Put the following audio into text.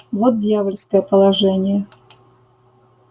вот дьявольское положение